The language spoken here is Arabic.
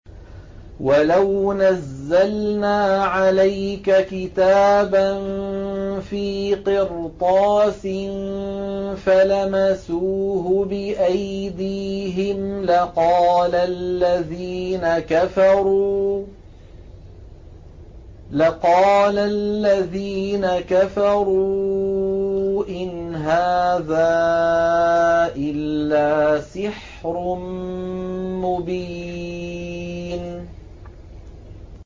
وَلَوْ نَزَّلْنَا عَلَيْكَ كِتَابًا فِي قِرْطَاسٍ فَلَمَسُوهُ بِأَيْدِيهِمْ لَقَالَ الَّذِينَ كَفَرُوا إِنْ هَٰذَا إِلَّا سِحْرٌ مُّبِينٌ